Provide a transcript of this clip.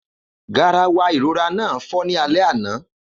Garawa ìrora náà fọ́ ní alẹ́ àná